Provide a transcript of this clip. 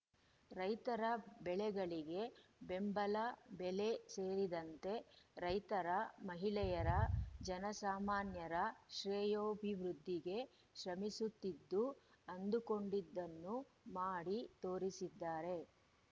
ರೈತರ ಬೆಳೆಗಳಿಗೆ ಬೆಂಬಲ ಬೆಲೆ ಸೇರಿದಂತೆ ರೈತರ ಮಹಿಳೆಯರ ಜನಸಾಮಾನ್ಯರ ಶ್ರೇಯೋಭಿವೃದ್ದಿಗೆ ಶ್ರಮಿಸುತ್ತಿದ್ದು ಅಂದುಕೊಂಡಿದ್ದನ್ನು ಮಾಡಿ ತೋರಿಸಿದ್ದಾರೆ